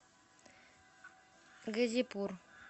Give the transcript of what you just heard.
газипур